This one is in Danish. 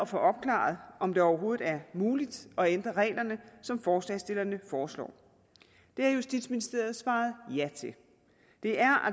få opklaret om det overhovedet er muligt at ændre reglerne som forslagsstillerne foreslår det har justitsministeriet svaret ja til det er